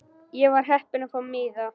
Ég var heppin að fá miða.